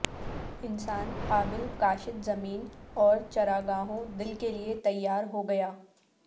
انسان قابل کاشت زمین اور چراگاہوں دل کے لئے تیار ہو گیا